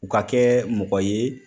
U ka kɛ mɔgɔ ye